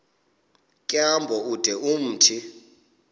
tyambo ude umthi